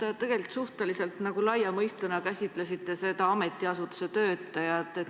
Te tegelikult suhteliselt laia mõistena käsitlesite ametiasutuste töötajaid.